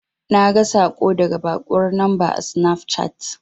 Naga saƙo daga baƙuwar lamba a sinafcat.